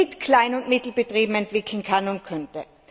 mit Klein und Mittelbetrieben entwickeln kann und könnte.